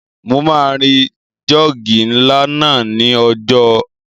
Mo máa ri jọ́ọ̀gì ńlá náà ní ọjà óúnjẹ